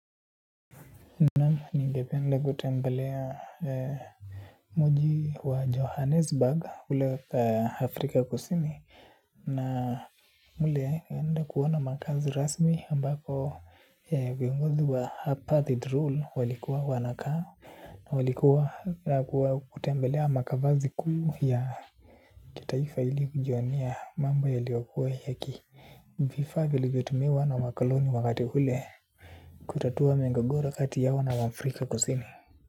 Na ningepende kutembelea muji wa johannesburg kule afrika kusini na kule naenda kuona makazi rasmi ambapo wa viongozi wa apatheid rule walikuwa wanakaa. Na walikuwa kutembelea makavazi kuu ya kitaifa ili kujionea mambo yaliyokuwa yaki vifaa vilivyotumiwa na wakoloni wakati ule. Kutatua migogoro kati yao na wafrika kusini.